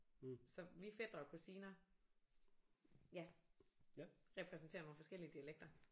Så vi fætre og kusiner ja repræsenterer nogle forskellige dialekter